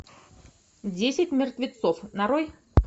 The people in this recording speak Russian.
десять мертвецов нарой